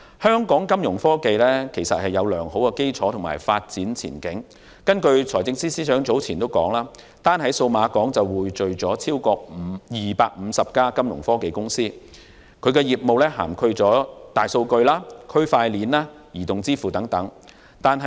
香港金融科技有良好的基礎和發展前景，根據財政司司長早前所說，單在數碼港便匯聚了超過250間金融科技公司，業務涵蓋大數據、區塊鏈和移動支付等。